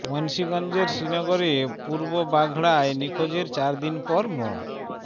মুন্সীগঞ্জের শ্রীনগরে পূর্ব বাঘড়ায় নিখোঁজের চার দিন পর মো